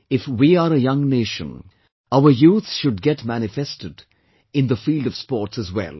If we are a young nation, our youth should get manifested in the field sports as well